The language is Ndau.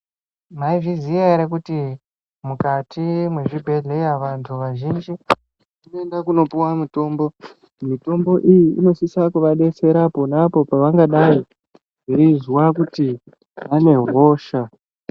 Maizviziva here kuti mukati mezvibhedhlera mwedu vazhinji tinoenda kundopuwa mitombo mitombo iyi inosisa kuva detsera pona apo pavangadai veizwa kuti vane hosha.